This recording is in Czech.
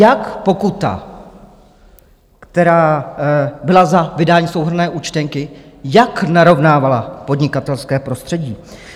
Jak pokuta, která byla za vydání souhrnné účtenky, jak narovnávala podnikatelské prostředí?